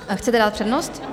Chcete dát přednost?